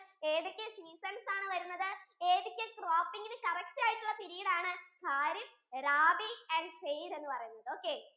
ഏതൊക്കെ season ആണ് വരുന്നത് ഏതൊക്കെ cropping യിന് correct ആയിട്ടുള period ആണ് kharif, rabi and zaid എന്ന് പറയുന്നത് okay